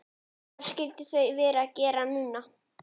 Hvað skyldu þau vera að gera núna?